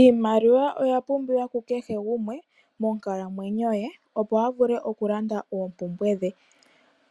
Iimaliwa oya pumbiwa kukehe gumwe monkalamwenyo ye, opo avule okulanda oompumbwe dhe.